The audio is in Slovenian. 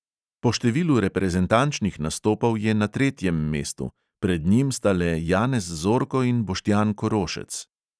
Po številu reprezentančnih nastopov je na tretjem mestu, pred njim sta le janez zorko in boštjan korošec.